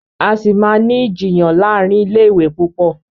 A sí má ní Ìjiyàn láàrin ilé ìwé púpọ.